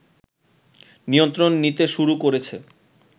নিয়ন্ত্রণ নিতে শুরু করেছে